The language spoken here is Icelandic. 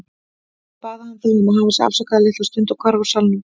Síðan bað hann þá að hafa sig afsakaðan litla stund og hvarf úr salnum.